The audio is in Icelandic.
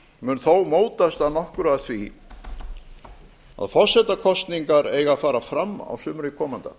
mun þó mótast að nokkru af því að forsetakosningar eiga að fara fram á sumri komanda